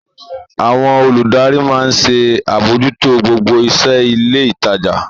Àwọn olùdarí maa ń ṣe àbójútó gbogbo iṣẹ́ ilé ìtajà.